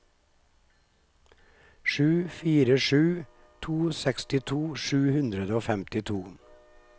sju fire sju to sekstito sju hundre og femtito